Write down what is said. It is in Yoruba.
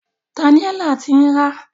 Daniella ti ń rá.